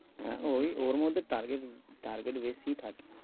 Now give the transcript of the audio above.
হ্যাঁ ওই ওর মধ্যে target target base ই থাকে।